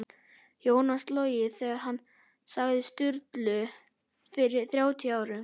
Jónas logið þegar hann sagði Sturlu fyrir þrjátíu árum á